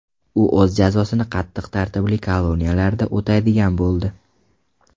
U o‘z jazosini qattiq tartibli koloniyalarda o‘taydigan bo‘ldi.